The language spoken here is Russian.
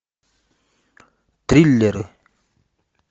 триллеры